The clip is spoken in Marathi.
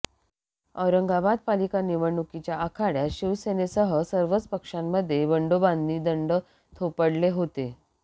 औरंगाबाद पालिका निवडणुकीच्या आखाड्यात शिवसेनेसह सर्वच पक्षामध्ये बंडोबांनी दंड थोपडले होते